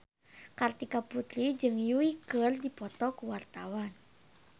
Kartika Putri jeung Yui keur dipoto ku wartawan